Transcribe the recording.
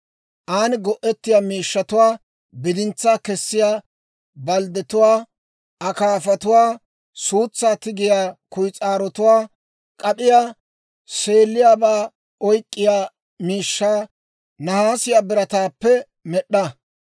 An go"ettiyaa miishshatuwaa, bidintsaa kessiyaa balddetuwaa, akaafatuwaa, suutsaa tigiyaa kuyis'aarotuwaa, K'ap'iyaa, seeliyaabaa oyk'k'iyaa miishshaa nahaasiyaa birataappe med'd'a.